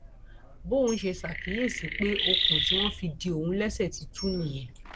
bòun ṣe ṣàkíyèsí pé okùn tí wọn fi de òun léṣe ti tú nìyẹn